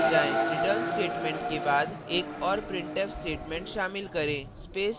return statement के बाद एक और printf statement शामिल करें